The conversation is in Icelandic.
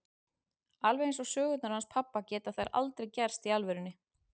Alveg eins og sögurnar hans pabba geta þær aldrei gerst í alvörunni.